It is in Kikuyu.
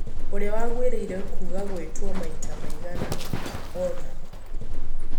ũria wagũirĩire kũga gũitwo maita maigana ona.